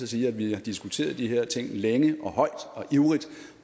sige at vi har diskuteret de her ting længe og højt og ivrigt